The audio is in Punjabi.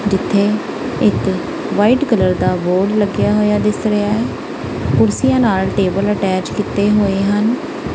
ਇੱਥੇ ਵਾਈਟ ਕਲਰ ਦਾ ਬੋਰਡ ਲੱਗਿਆ ਹੋਇਆ ਦਿਸ ਰਿਹਾ ਕੁਰਸੀਆਂ ਨਾਲ ਟੇਬਲ ਅਟੈਚ ਕੀਤੇ ਹੋਏ ਹਨ।